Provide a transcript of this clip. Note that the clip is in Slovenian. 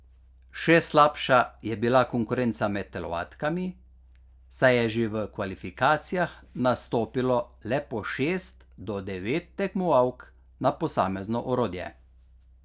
Še slabša je bila konkurenca med telovadkami, saj je že v kvalifikacijah nastopilo le po šest do devet tekmovalk na posamezno orodje.